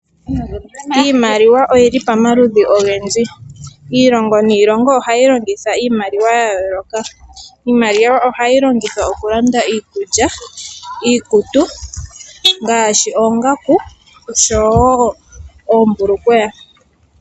Iimaliwa oyili pamaludhi ogendji. Iilongo niilongo ohayi longitha iimaliwa ya yooloka. Iimaliwa ohayi longithwa oku landa iikulya, iikutu ngaashi oongaku oshowo oombulukweya.